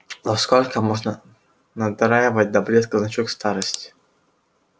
ну сколько можно надраивать до блеска значок старосте